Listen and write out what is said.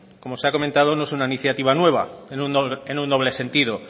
como se ha comentado no es una iniciativa nueva en un doble sentido